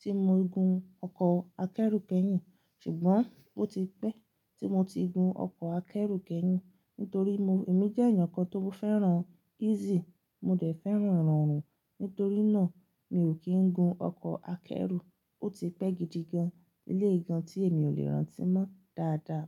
tí mo gun ọkọ̀ akẹ́rù kẹ́yìn, ṣùgbọ́n ó ti pẹ́ tí mo ti gun ọkọ̀ akẹ́rù kẹ́yìn nítorí mo èmi jẹ́ ènìyàn kan tó fẹ́ràn easy. Mo dẹ̀ fẹ́ràn rọrùn, nítorí náà mi ò kí ń gun ọkọ̀ akẹ́rù. Ó ti pẹ́ gidi gan, eléyi gan tí èmi ò lè rántí mọ́ dáadáa.